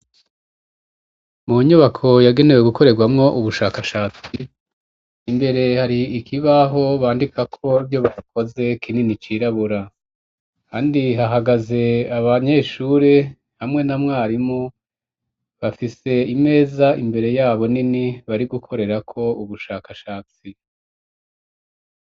Mu nyubako yagenewe gukorerwamwo ubushakashatsi imbere hari ikibaho bandikako vyo bakoze kinini cirabura kandi hahagaze abanyeshuri hamwe na mwarimu bafise imeza imbere yabo nini bari gukorera ko ubushakashatsi.